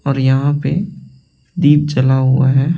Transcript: और यहां पे दीप जला हुआ है।